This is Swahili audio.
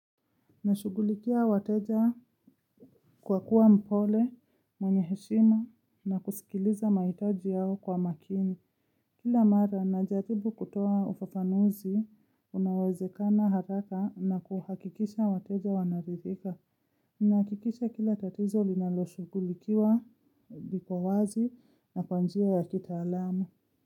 Nashugulikia wateja kwa kuwa mpole, mwenye heshima na kusikiliza mahitaji yao kwa makini. Kila mara, najaribu kutoa ufafanuzi, unaowezekana haraka na kuhakikisha wateja wanaridhika. Nahakikisha kila tatizo linaloshughulikiwa liko wazi na kwa njia ya kitaalamu.